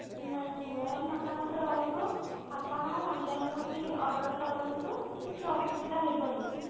ନାଇଁ ମୋ ମତାମତ ରହିବ ଆପଣ online ରୁ ବି order କରନ୍ତୁ କିଛି ଅସୁବିଧା ହବନି